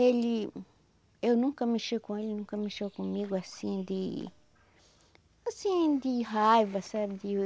Ele... Eu nunca mexi com ele, nunca mexeu comigo assim de... Assim de raiva, sabe? De